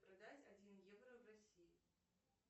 продать один евро в россии